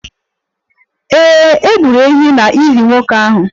Ee, e gburu ehi n'ili nwoke ahụ